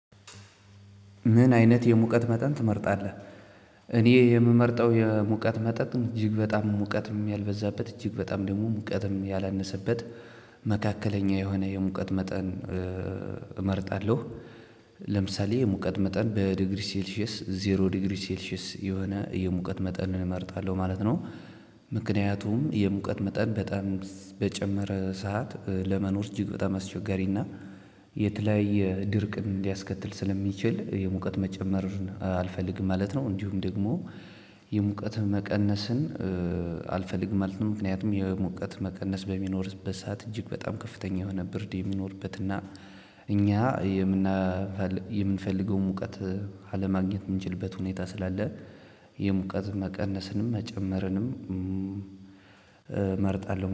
ምን አይነት የሙቀት መጠን ትመርጣለህ? እኔ የምመርጠው የሙቀት መጠን እጅግ በጣም ሙቀትም ያልበዛበት እጅግ በጣም ደግሞ ሙቀትም ያላነሰበት መካከለኛ የሆነ የሙቀት መጠን እመርጣለሁ። ለምሳሌ የሙቀት መጠን በዲግሪ ሴልሺየስ ዜሮ ዲግሪ ሴልሺየስ የሆነ የሙቀት መጠን እመርጣለሁ ማለት ነው። ምክንያቱም የሙቀት መጠን በጣም በጨመረ ሰዓት ለመኖር እጅግ በጣም አስቸጋሪና የተለያዬ ድርቅን ሊያስከትል ስለሚችል የሙቀት መጨመር አልፈልግም ማለት ነው። እንዲሁም ደግሞ የሙቀት መቀነስን አልፈልግም ማለት ነው። ምክንያቱም የሙቀት መቀነስ በሚኖርበት ሰዓት እጅግ በጣም ከፍተኛ የሆነ ብርድ የሚኖርበት እና እኛ የምንፈልገውን ሙቀት አለማግኘት የምንችልበት ሁኔታ ስላለ የሙቀት መቀነስንም መጨመርንም እመርጣለሁ